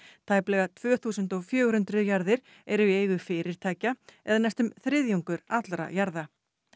tæplega tvö þúsund og fjögur hundruð jarðir eru í eigu fyrirtækja eða næstum þriðjungur allra jarða